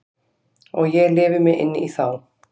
Og ég lifi mig inn í þá.